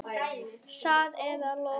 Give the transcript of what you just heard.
Satt eða logið.